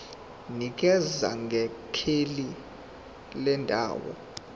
nikeza ngekheli lendawo